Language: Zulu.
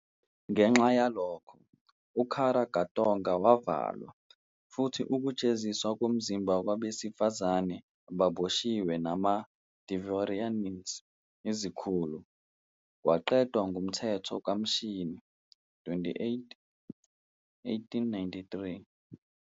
Ngenxa yalokho, uKara katorga wavalwa, futhi ukujeziswa ngomzimba kwabesifazane ababoshiwe nama- dvorianins, izikhulu, kwaqedwa ngumthetho kaMashi 28, 1893.